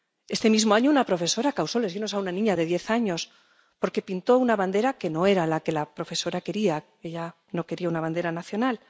Este mismo año, una profesora causó lesiones a una niña de diez años porque pintó una bandera que no era la que la profesora quería ella no quería una bandera nacional.